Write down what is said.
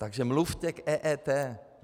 Takže mluvte k EET.